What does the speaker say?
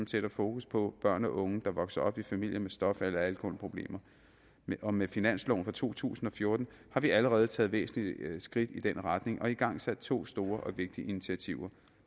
sætter fokus på børn og unge der vokser op i familier med stof eller alkoholproblemer og med finansloven for to tusind og fjorten har vi allerede taget væsentlige skridt i den retning og igangsat to store og vigtige initiativer